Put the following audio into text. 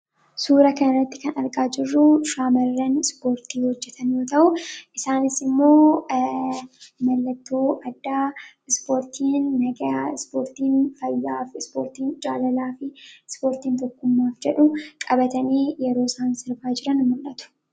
Suuraa kana irratti kan argaa jiruu shamaraan Ispoortti hojeetan yoo ta'u, isaanis immoo mallatoo adda Ispoortin nagaa, Ispoortin faayaa, Ispoorttn jaalalafi Ispoortin tokkummaaf jedhuu qabatani yeroo isaan sirbaa jiraan mul'atu.